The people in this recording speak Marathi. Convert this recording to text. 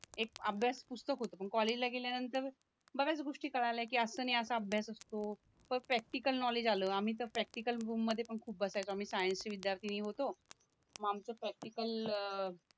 एक अभ्यास पुस्तक होतं पण कॉलेजला गेल्यानंतर बऱ्याच गोष्टी कळाल्या की असं नाही असं अभ्यास असतो प्रॅक्टिकल नॉलेज आला आम्ही तर प्रॅक्टिकल रूम मध्ये पण खूप बसायचो आम्ही सायन्सचे विद्याथींनी होतो म आमच्या प्रॅक्टिकल